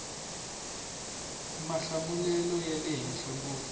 mahlamulelo ya le henhla ngopfu